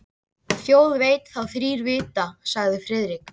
Þjóð veit þá þrír vita sagði Friðrik.